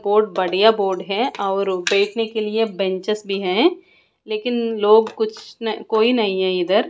board बढ़िया board है और बैठने के लिए बेंचस भी है लेकिन लोग कुछ न कोई नहीं है इधर--